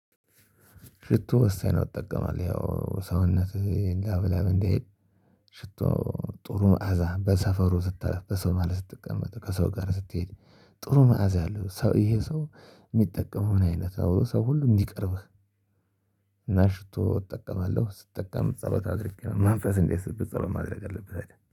ሽቶ ወሳኝ ነው። እጠቀማለው ያው ሰውነትህ ላብ ላብ እንዳይል። ሽቶ ጥሩ መዓዛ በሰፈሩ ስታልፍ በሰው መሃል ስትቀመጥ ከሰው ጋር ስትሄድ ጥሩ መዓዛ ያለው ሰው ይሄ ሰው ሚጠቀመውን አይነት ነው ሰው ሁሉ እንዲቀርብህ። እና ሽቶ እጠቀማለሁ። ስትጠቀም ጸሎት አድርጌ ነው መንፈስ እንዳይሰፍርበት ማድረግ አለብህ? አይደል